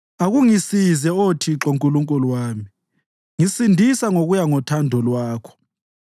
Akungisize, Oh Thixo Nkulunkulu wami; ngisindisa ngokuya ngothando lwakho.